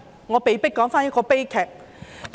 我被迫重提一宗悲劇。